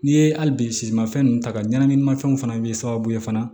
N'i ye hali bi simafɛn ninnu ta ka ɲɛnaminimafɛnw fana bɛ sababu ye fana